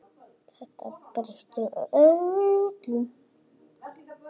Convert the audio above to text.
Þetta breytti öllu.